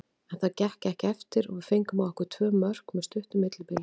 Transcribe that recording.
En það gekk ekki eftir og við fengum á okkur tvö mörk með stuttu millibili.